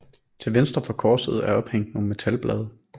Til venstre for korset er ophængt nogle metalblade